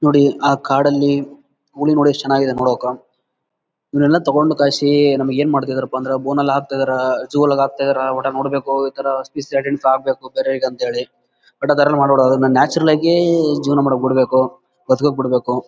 ನೋಡಿ ಆಹ್ಹ್ ಕಾಡಲ್ಲಿ ಹುಲಿ ನೋಡಿ ಎಸ್ಟ್ ಚೆನ್ನಾಗಿದೆ ನೋಡಾಕ ಇವುಗಳನ್ನುತಗೊಂಡು ನಮಗೆ ಏನ್ ಮಾಡ್ತಾ ಇದ್ದರಪ್ಪಾ ಅಂದ್ರೆ ಬೋನ್ ಅಲ್ಲಿ ಹಾಕ್ತಿದ್ದಾರಾ ಝು ಅಲ್ಲಿ ಹಾಕ್ತಿದ್ದಾರಾ ಒಟ್ಟಾರೆ ನೋಡ್ಬೇಕು ನ್ಯಾಚುರಲ್ ಆಗಿ ಜೀವನ ಮಾಡ್ಲಿಕ್ ಬಿಡ್ಬೇಕು ಬದ್ಕಕ್ ಬಿಡ್ಬೇಕು.